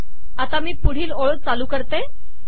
आता मी पुढील ओळ चालू करते